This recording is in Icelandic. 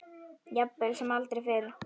Jafnvel sem aldrei fyrr.